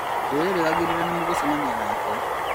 Ndirerĩgagĩrĩra nĩmũgucemania nake